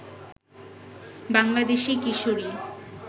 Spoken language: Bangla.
বাংলাদেশি কিশোরী